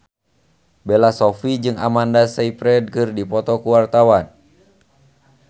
Bella Shofie jeung Amanda Sayfried keur dipoto ku wartawan